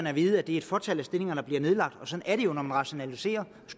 at vide at det er et fåtal af stillinger der bliver nedlagt og sådan er det jo når man rationaliserer